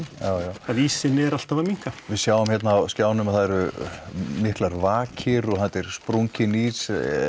að ísinn er alltaf að minnka við sjáum hérna á skjánum að það eru miklar vakir og þetta er sprunginn ís